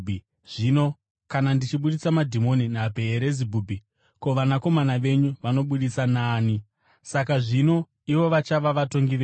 Zvino kana ndichibudisa madhimoni naBheerizebhubhi, ko, vanakomana venyu vanoabudisa naani? Saka zvino, ivo vachava vatongi venyu.